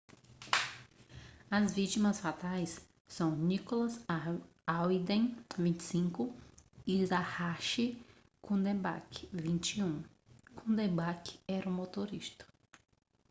as vítimas fatais são nicholas alden 25 e zachary cuddeback 21 cuddeback era o motorista